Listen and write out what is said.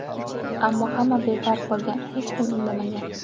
Ammo hamma befarq bo‘lgan, hech kim indamagan.